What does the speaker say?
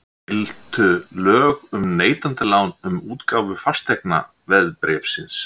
Giltu lög um neytendalán um útgáfu fasteignaveðbréfsins?